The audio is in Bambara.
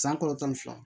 San kalo tan ni fila